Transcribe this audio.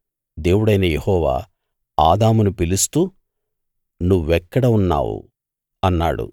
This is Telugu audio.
దేవుడైన యెహోవా ఆదామును పిలుస్తూ నువ్వెక్కడ ఉన్నావు అన్నాడు